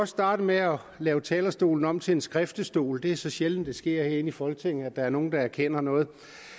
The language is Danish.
starte med at lave talerstolen om til en skriftestol det er så sjældent det sker herinde i folketinget at der er nogen der erkender noget